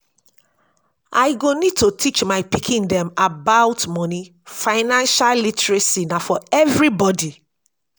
i go need to teach my pikin dem about moni financial literacy na for everybody